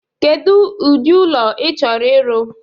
Kedu ụdị ụlọ i chọrọ ịrụ?